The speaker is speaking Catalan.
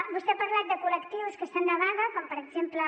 vostè ha parlat de col·lectius que estan de vaga com per exemple